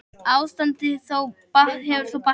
Ástandið hefur þó batnað.